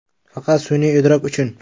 Faqat sun’iy idrok uchun.